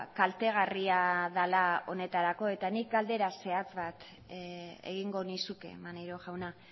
kaltegarria dela honetarako eta nik galdera zehatz bat egingo nizuke maneiro jauna